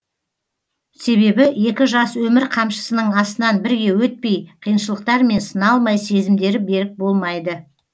себебі екі жас өмір қамшысының астынан бірге өтпей қиыншылықтармен сыналмай сезімдері берік болмайды